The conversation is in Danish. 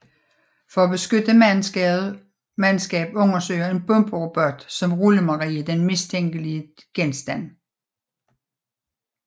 For at beskytte mandskab undersøger en bomberobot som Rullemarie den mistænkelige genstand